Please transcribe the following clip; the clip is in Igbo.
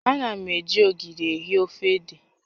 Ana m eji ogiri eai ofe ede